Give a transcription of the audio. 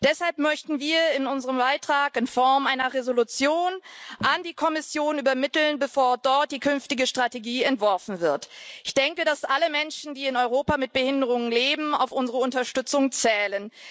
Deshalb möchten wir unseren Beitrag in Form einer Entschließung an die Kommission übermitteln, bevor dort die künftige Strategie entworfen wird. Ich denke, dass alle Menschen, die in Europa mit Behinderungen leben, auf unsere Unterstützung zählen.